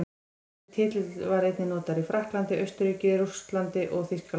Þessi titill var einnig notaður í Frakklandi, Austurríki, Þýskalandi og Rússlandi.